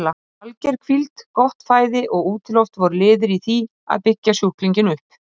Alger hvíld, gott fæði og útiloft voru liðir í því að byggja sjúklinginn upp.